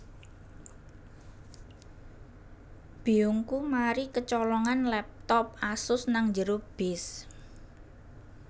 Biyungku mari kecolongan laptop Asus nang njero bis